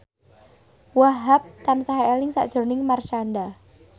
Wahhab tansah eling sakjroning Marshanda